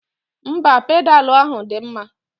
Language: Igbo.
Mba, pedalu ahụ dị mma.